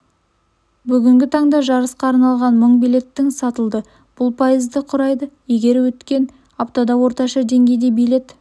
бүгінгі таңда жарысқа арналған мың билеттің сатылды бұл пайызды құрайды егер өткен аптада орташа деңгейде билет